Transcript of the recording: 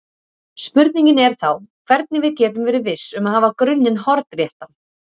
Spurningin er þá hvernig við getum verið viss um að hafa grunninn hornréttan.